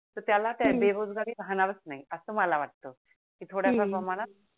तर त्याला ते हम्म काय बेरोजगारी राहणारच नाही असं मला वाटतं की थोड्यासा प्रमाणात हम्म